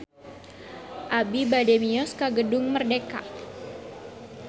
Abi bade mios ka Gedung Merdeka